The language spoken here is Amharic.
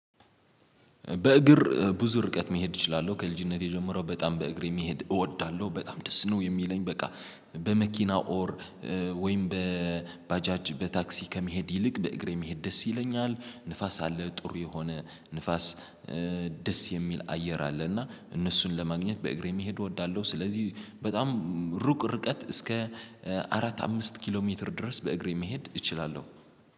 በእግር ብዙ ርቀት መሄድ እችላለሁ ከልጅነቴ ጀምሮ በጣም በእግር መሄድ እወዳለሁ በጣም ደስ ነው የሚለኝ። በቃ በመኪና ኦር ወይም በባጃጅ በታክሲ ከመሄድ ይልቅ በእግሬ መሄድ ደስ ይለኛል። ንፋስ አለ ጥሩ የሆነ ንፋስ ደስ የሚል አየር አለ። እና እነሱን ለማግኘት በእግሬ መሄድ እወዳለሁ። ስለዚህ በጣም ሩቅ ርቀት እስከ አራት አምስት ኪሎ ሜትር ድረስ በእግሬ መሄድ እችላለሁ